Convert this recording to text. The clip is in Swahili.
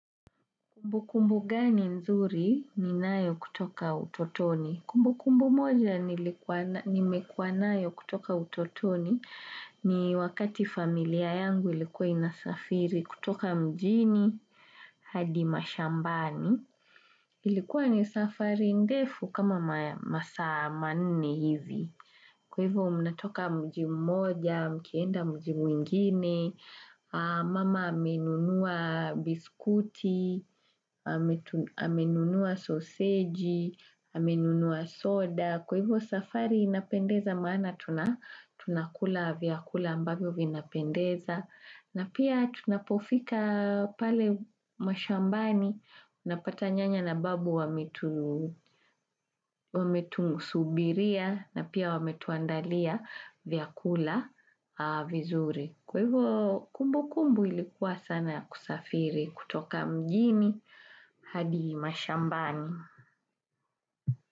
Kumbu kumbu gani nzuri ninayo kutoka utotoni? Kumbu kumbu moja nimekua nayo kutoka utotoni ni wakati familia yangu ilikuwa inasafiri kutoka mjini hadi mashambani. Ilikuwa ni safari ndefu kama masa manne hivi. Kwa hivyo mnatoka mjimu moja, mkienda mji muingine, mama amenunua biskuti, amenunua soseji, amenunua soda. Kwa hivyo safari inapendeza maana tunakula viakula ambavyo vinapendeza na pia tunapofika pale mashambani napata nyanya na babu wametunusubiria na pia wametuandalia viakula vizuri. Kwa hivyo kumbukumbu ilikuwa sana ya kusafiri kutoka mjini hadi mashambani.